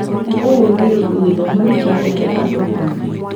ũũ nĩũndũ gĩthomo nĩkĩhete andũ ũũgĩ